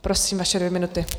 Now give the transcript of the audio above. Prosím, vaše dvě minuty.